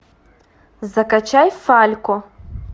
закачай фалько